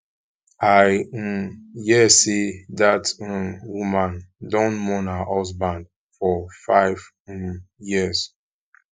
i um hear sey dat um woman don mourn her husband for five um years